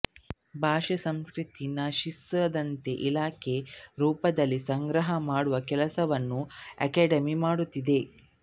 ಭಾಷೆ ಸಂಸ್ಕೃತಿ ನಶಿಸಿದಂತೆ ದಾಖಲೆ ರೂಪದಲ್ಲಿ ಸಂಗ್ರಹ ಮಾಡುವ ಕೆಲಸವನ್ನೂ ಅಕಾಡೆಮಿ ಮಾಡುತ್ತಿದೆ